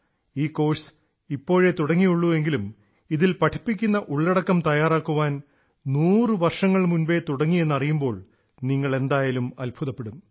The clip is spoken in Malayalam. ഈ കോഴ്സ് ഇപ്പോഴെ തുടങ്ങിയുള്ളൂ എങ്കിലും ഇതിൽ പഠിപ്പിക്കുന്ന ഉള്ളടക്കം തയ്യാറാക്കാൻ 100 വർഷങ്ങൾ മുമ്പേ തുടങ്ങിയെന്നറിയുമ്പോൾ നിങ്ങൾ എന്തായാലും അത്ഭുതപ്പെടും